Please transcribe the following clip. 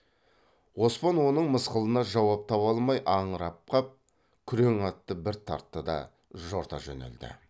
оспан оның мысқылына жауап таба алмай аңырып қап күрең атты бір тартты да жорта жөнелді